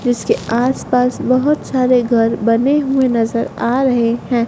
जीसके आस पास बहोत सारे घर बने हुए नजर आ रहे हैं।